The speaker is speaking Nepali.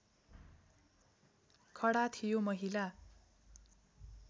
खडा थियो महिला